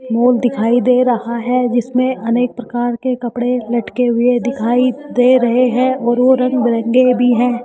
Mall दिखाई दे रहा है जिसमें अनेक प्रकार के कपड़े लटके हुए दिखाई दे रहे है और वो रंग बिरंगे भी है।